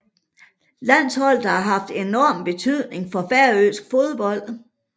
Landsholdet har haft enorm betydning for færøsk fodbold